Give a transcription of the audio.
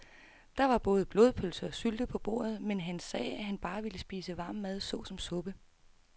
Der var både blodpølse og sylte på bordet, men han sagde, at han bare ville spise varm mad såsom suppe.